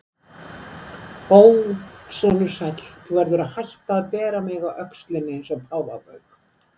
Ó, sonur sæll, þú verður að hætta að bera mig á öxlinni eins og páfagauk.